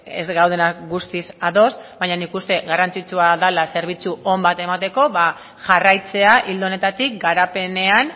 ez gaudenak guztiz ados baina nik uste garrantzitsua dela zerbitzu on bat emateko ba jarraitzea ildo honetatik garapenean